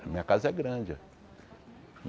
A minha casa é grande.